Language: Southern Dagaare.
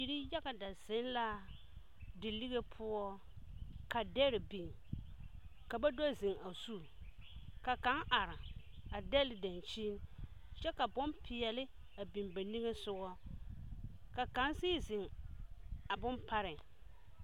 Biri yaga da zeŋ la de lige poɔ, ka dɛre biŋ, ka ba do zeŋ a zu, ka kaŋ are a dɛle dankyini, kyɛ ka bompeɛle a biŋ ba niŋe sogɔ ka kaŋ sigi zeŋ a bone pareŋ.